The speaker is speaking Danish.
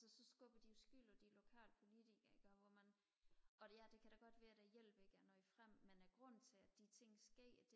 så skubber de jo skyld på de lokale politikkere ikke også hvor man og det ja det kan godt være at hjælpen ikke er nået frem men er grunden til at de ting er sket